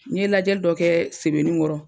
N ye lajɛli dɔ kɛ sebeningɔrɔ